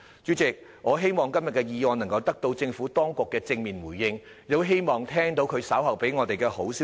主席，我希望今天這項議案能夠得到政府當局的正面對應，亦希望稍後聽到政府當局給予我們好消息。